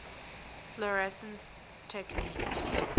fluorescence techniques